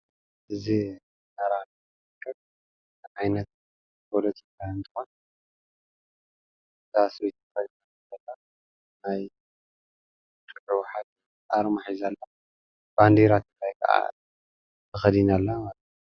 Aaaaa bbbbb ccccc dddd